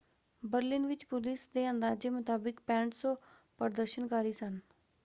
Berlin ਵਿੱਚ police ਦੇ ਅੰਦਾਜੇ ਮੁਤਾਬਿਕ 6,500 ਪ੍ਰਦਰਸ਼ਨਕਾਰੀ ਸਨ।